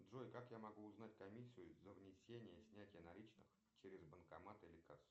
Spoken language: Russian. джой как я могу узнать комиссию за внесение снятие наличных через банкомат или кассу